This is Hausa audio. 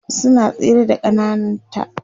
suna tsere da ƙannan ta